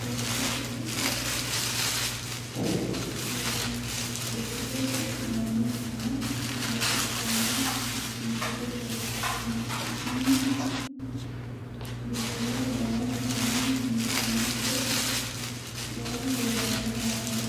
dancha ikkite la'annohano baxissanno misile leeltanni nooe ini misile lowonta biifffinnote yee hedeemmo yaate